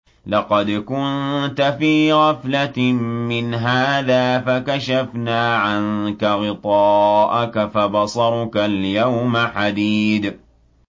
لَّقَدْ كُنتَ فِي غَفْلَةٍ مِّنْ هَٰذَا فَكَشَفْنَا عَنكَ غِطَاءَكَ فَبَصَرُكَ الْيَوْمَ حَدِيدٌ